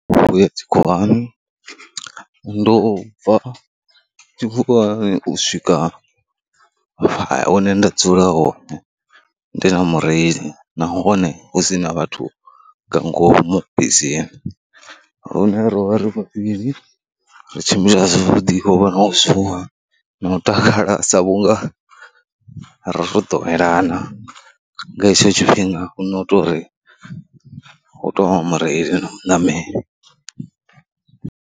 U ya tshikhuwani, ndi u bva tshikhuwani u swika hune nda dzula hone, ndi na mureili nahone hu si na vhathu nga ngomu bisini. Lune ro vha ri vhavhili, ri tshimbila na u ḓifha na u zuwa na u takala sa vhunga ra ro ḓowelana nga hetsho tshifhinga hu no tou ri hu tou vha mureili na muṋameli.